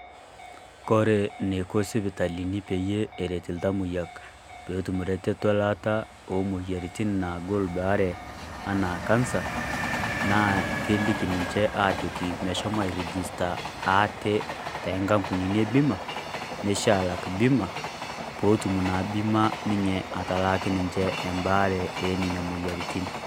Kore neiko sipitalini peyie eret lltamoyiak pee etum reteto elaata oomoyiarritin naagol ebaare anaa kansa, naa keliki ninchee ajoki meishomo airejista aate te nkampunini e bima neishee alaak bima pootum naa bima atalaaki ninchee abaare enenia moyarratin.